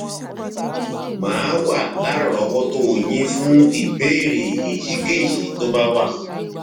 màá wà lárọọwọtó yín fún ìbéèrè èyíkéyìí tó bá wà